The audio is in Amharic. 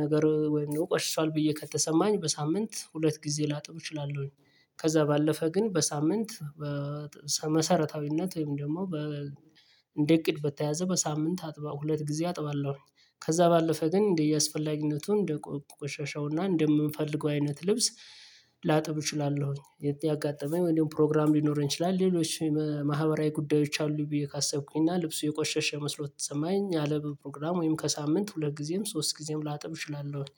ነገር ወይም ቆሽሿል ብዬ ከተሰማኝ በሳምንት ሁለት ጊዜ ላጥብ እችላለሁኝ። ከዛ ባለፈ ግን በሳምንት በመሰረታዊነት ወይም ደግሞ በ እንደ እቅድ በተያዘ በሳምንት አጥባ ሁለት ጊዜ አጥባለሁ። ከዛ ባለፈ ግን እንደየአስፈላጊነቱ እንደቆሸሸውና እንደምንፈልገው አይነት ልብስ ላጥብ እችላለሁኝ ያጋጠመኝ ወይም ፕሮግራም ሊኖረኝ ይችላል ሌሎች ማህበራዊ ጉዳዮች አሉ ብዬ ካሰብኩኝ እና ልብሱ የቆሸሸ መስሎ ከተሰማኝ ያለ በፕሮግራም ወይም ከሳምንት ሁለት ጊዜም ሶስት ጊዜም ላጥበ እችላለሁኝ።